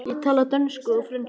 Ég tala dönsku og frönsku.